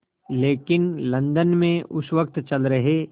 लेकिन लंदन में उस वक़्त चल रहे